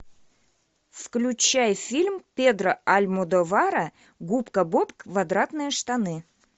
включай фильм педро альмодовара губка боб квадратные штаны